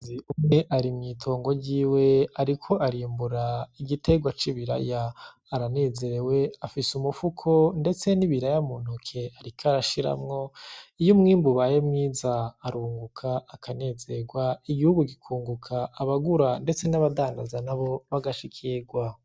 Umukenyezi umwe ari mw'itongo ryiwe ariko arimbura igiterwa c'ibiraya, aranezerewe afise umufuko ndetse n'ibiraya muntoke ariko arashiramwo, iyo umwimbu ubaye mwiza aranguka akanezerwa, igihugu kikunguka abagura ndetse n'abadandaza bagashikirwa.